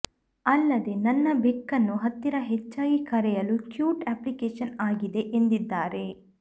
ಅಲ್ಲದೆ ನನ್ನ ಬೆಕ್ಕನ್ನು ಹತ್ತಿರ ಹೆಚ್ಚಾಗಿ ಕರೆಯಲು ಕ್ಯೂಟ್ ಅಪ್ಲಿಕೇಶನ್ ಆಗಿದೆ ಎಂದಿದ್ದಾರೆ